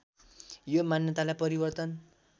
यो मान्यतालाई परिवर्तन